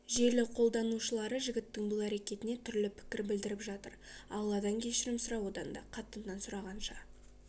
желі қолданушылары жігіттің бұл әрекетіне түрлі пікір білдіріп жатыр алладан кешірім сұра одан да қатыннан сұрағанша